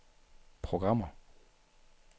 programmer